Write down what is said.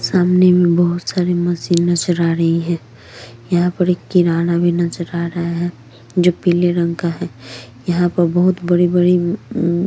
सामने बहुत सारी मशीन नजर आ रही है यहाँ पर एक किरण भी नजर आ रहा है जो पीले रंग का है यहाँ पर बहुत बड़ी-बड़ी--